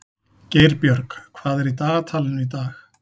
Geirbjörg, hvað er í dagatalinu í dag?